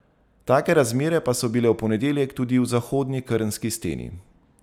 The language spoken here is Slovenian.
Take razmere pa so bile v ponedeljek tudi v zahodni krnski steni.